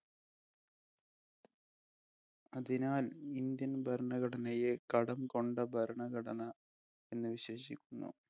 അതിനാൽ Indian ഭരണഘടനയെ കടം കൊണ്ട ഭരണഘടന എന്ന് വിശേഷിപ്പിക്കുന്നു.